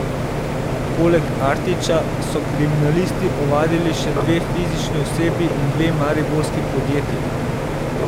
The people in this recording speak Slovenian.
Poleg Artiča so kriminalisti ovadili še dve fizični osebi in dve mariborski podjetji.